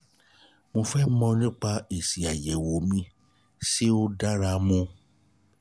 mo fẹ́ mọ̀ nípa èsì àyẹ̀wò mi ṣé ṣé ó dára mu